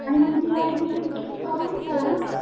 आणि मग तिला ऍडमिशन च्या वेळेस प्रॉब्लेम झाला ना,